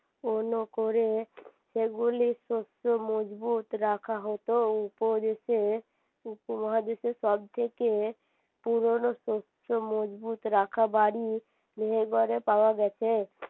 করে সেগুলি শক্ত মজবুত রাখা হতো উপদেশে উপমহাদেশে সবথেকে পুরোনো শক্ত মজবুত রাখা বাড়ি মেহের গড়ে পাওয়া গেছে